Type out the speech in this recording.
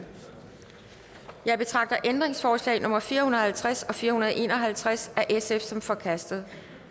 jeg betragter ændringsforslag nummer fire hundrede og halvtreds og fire hundrede og en og halvtreds af sf som forkastet